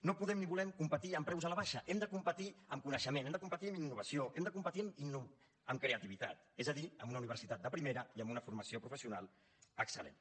no podem ni volem competir amb preus a la baixa hem de competir amb coneixement hem de competir amb innovació hem de competir amb creativitat és a dir amb una universitat de primera i amb una formació professional excel·lent